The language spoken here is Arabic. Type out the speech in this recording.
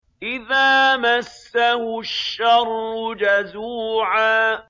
إِذَا مَسَّهُ الشَّرُّ جَزُوعًا